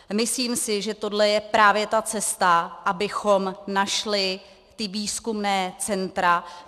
Myslím si, že tohle je právě ta cesta, abychom našli ta výzkumná centra.